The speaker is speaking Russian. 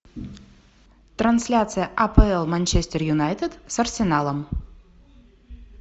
трансляция апл манчестер юнайтед с арсеналом